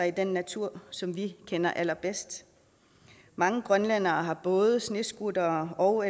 i den natur som vi kender allerbedst mange grønlændere har både snescooter og